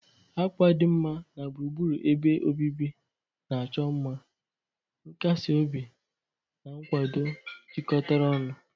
Akwa dinma na gburugburu ebe obibi na-achọ mma, nkasi obi na nkwado jikọtara ọnụ.